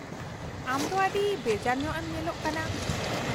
-ᱟᱢ ᱫᱚ ᱟᱹᱰᱤ ᱵᱮᱡᱟᱨ ᱧᱚᱜᱼᱮᱢ ᱧᱮᱞᱚᱜ ᱠᱟᱱᱟ ᱾